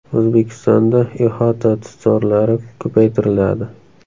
O‘zbekistonda ihota tutzorlari ko‘paytiriladi.